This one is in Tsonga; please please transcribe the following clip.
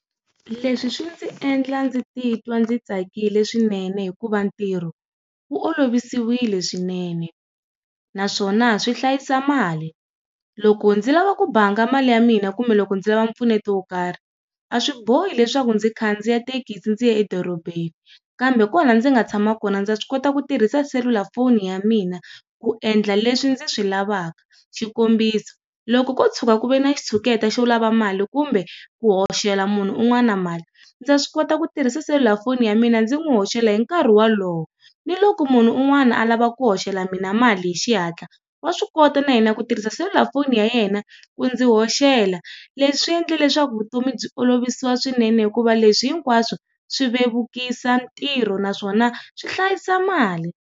Leswi swi ndzi endla ndzi ti twa ndzi tsakile swinene hikuva ntirho, wu olovisiwile swinene, naswona swi hlayisa mali. Loko ndzi lava ku banga mali ya mina kumbe loko ndzi lava mpfuneto wo karhi, a swi bohi leswaku ndzi khandziya tekisi ndzi ya edorobeni, kambe kwala ndzi nga tshama kona ndza swi kota ku tirhisa selulafoni ya mina ku endla leswi ndzi swi lavaka. Xikombiso, loko ko tshuka ku ve na xitshuketa xo lava mali kumbe ku hoxela munhu un'wana mali, ndza swi kota ku tirhisa selula foni ya mina ndzi n'wi hoxela hi nkarhi wolowo. Ni loko munhu un'wana a lava ku hoxela mina mali hi xihatla, wa swi kota na yena ku tirhisa selula foni ya yena, ku ndzi hoxela. Leswi swi endle leswaku vutomi byi olovisiwa swinene hikuva leswi hinkwaswo, swi vevukisa ntirho naswona swi hlayisa mali.